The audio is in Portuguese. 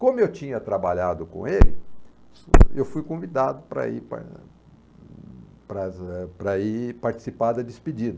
Como eu tinha trabalhado com ele, eu fui convidado para para ah para ir participar da despedida.